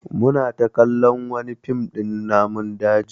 Mu na kallon wani fim din namun daji